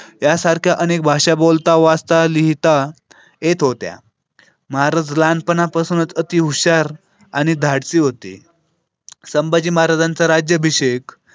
त्यासाठी अनेक भाषा बोलता वाचता लिहिता येत होत्या. महाराज लहानपणापासूनच हुशार आणि धाडसी होती. संभाजी महाराजांचा राज्याभिषेक.